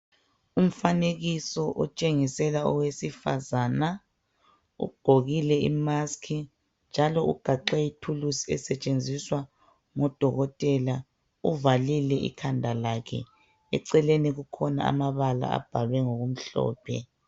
Umfanekiso oteshengisela owesifazana. Ugqokile i"mask" njalo ugaxe ithulusi esetshenziswa ngudokotela. Uvalile ikhanda lakhe. Eceleni kukhona amabala abhalwe ngokumhlophe.